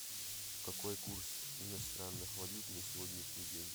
какой курс иностранных валют на сегодняшний день